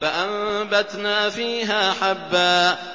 فَأَنبَتْنَا فِيهَا حَبًّا